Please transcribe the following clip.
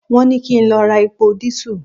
Won ni ki n lo ra epo diesel